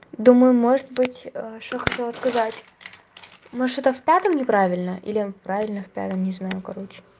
думаю может быть что хотела сказать может что-то в пятом не правильно или правильно в пятом я не знаю короче